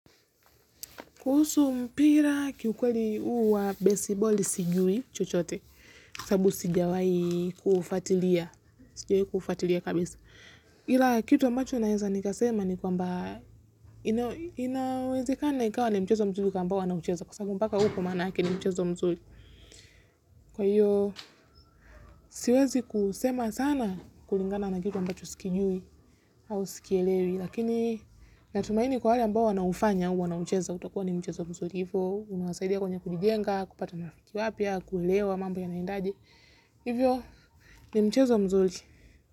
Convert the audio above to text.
Kuhusu mpira kiukweli huwa besi boli sijui chochote kwa sababu sijawahi kuufuatilia kuufuatilia kabisa. Ila kitu ambacho naeza nikasema ni kwamba inawezekana ikawa ni mchezo mzuri kwa ambao wanaicheza. Kwa sababu mpaka huku maanake ni mchezo mzuri. Kwa hiyo siwezi kusema sana kulingana na kitu ambacho sikijui au sikielewi lakini natumaini kwa wale ambao wanaufanya huwa wanaucheza. Utakuwa ni mchezo mzuri hivyo unawasaidia kwenye kulijenga kupata marafiki wapya kuelewa mambo yanaendajy. Hivyo ni mchezo mzuri.